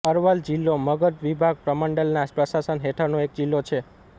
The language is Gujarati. અરવલ જિલ્લો મગધ વિભાગ પ્રમંડલના પ્રશાસન હેઠળનો એક જિલ્લો છે